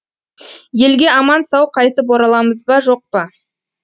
елге аман сау қайтып ораламыз ба жоқ па